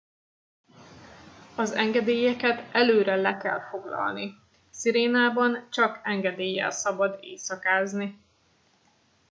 az engedélyeket előre le kell foglalni sirenában csak engedéllyel szabad éjszakázni